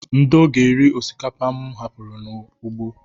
Ndo ga-eri osikapa mụ hapụrụ n'ugbo.